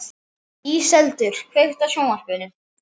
Íseldur, kveiktu á sjónvarpinu.